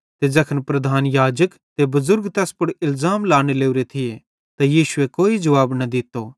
ते ज़ैखन प्रधान याजक ते बुज़ुर्ग तैस पुड़ इलज़ाम लाने लोरे थिये त यीशुए कोई जुवाब न दित्तो